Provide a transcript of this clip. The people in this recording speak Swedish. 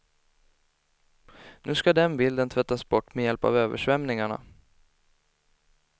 Nu ska den bilden tvättas bort, med hjälp av översvämningarna.